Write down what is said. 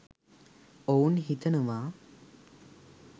ඔවුන් හිතනවා.